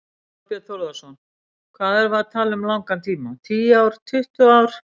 Þorbjörn Þórðarson: Hvað erum við að tala um langan tíma, tíu ár, tuttugu ár?